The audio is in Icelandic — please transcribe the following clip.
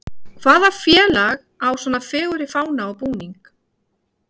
Hvaða félag á svo fegurri fána og búning?